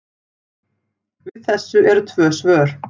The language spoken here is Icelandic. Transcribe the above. Við þessu eru tvö svör.